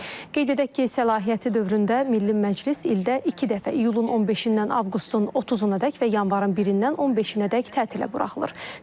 Qeyd edək ki, səlahiyyəti dövründə Milli Məclis ildə iki dəfə iyulun 15-dən avqustun 30-unadək və yanvarın 1-dən 15-ədək tətilə buraxılır.